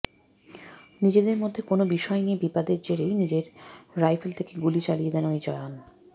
নিজেদের মধ্যে কোনও বিষয় নিয়ে বিবাদের জেরেই নিজের রাইফেল থেকে গুলি চালিয়ে দেন ওই জওয়ান